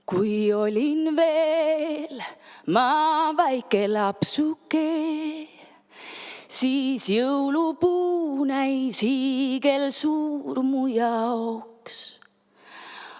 Kui olin veel ma väike lapsuke, siis jõulupuu näis hiigelsuur mu jaoks.